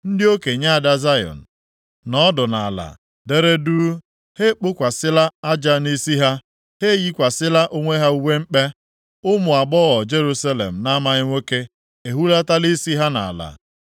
Ndị okenye ada Zayọn nọ ọdụ nʼala, dere duu. Ha ekpokwasịla aja nʼisi ha; ha eyikwasịkwala onwe ha uwe mkpe. Ụmụ agbọghọ Jerusalem na-amaghị nwoke ehulatala isi ha nʼala.